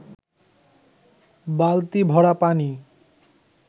বালতি ভরা পানি